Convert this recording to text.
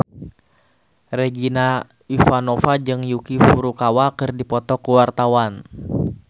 Regina Ivanova jeung Yuki Furukawa keur dipoto ku wartawan